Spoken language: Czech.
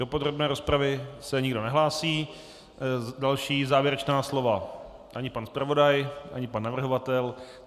Do podrobné rozpravy se nikdo nehlásí, další závěrečná slova - ani pan zpravodaj, ani pan navrhovatel.